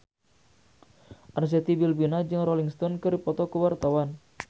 Arzetti Bilbina jeung Rolling Stone keur dipoto ku wartawan